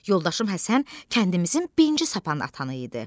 Yoldaşım Həsən kəndimizin birinci sapand atanı idi.